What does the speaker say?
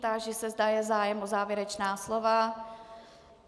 Táži se, zda je zájem o závěrečná slova?